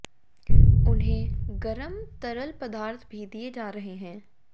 उन्हें गरम तरल पदार्थ भी दिए जा रहे हैं